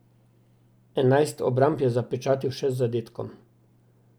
Enajst obramb je zapečatil še z zadetkom.